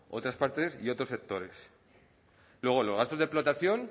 otras partes y otros sectores luego los gastos de explotación